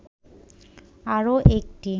আরও একটি